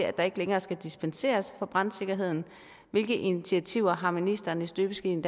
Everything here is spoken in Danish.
at der ikke længere skal dispenseres fra brandsikkerheden hvilke initiativer har ministeren i støbeskeen